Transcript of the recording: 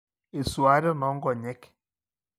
i-suaaten ongonyek